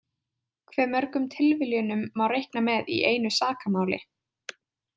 Hve mörgum tilviljunum má reikna með í einu sakamáli?